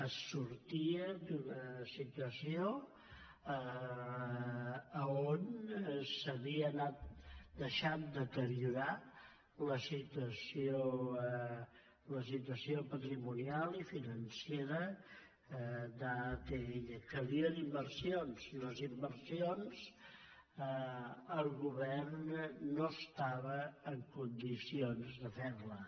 es sortia d’una situació on s’havia anat deixant deteriorar la situació patrimonial i finan·cera d’atll calien inversions i les inversions el go·vern no estava en condicions de fer·les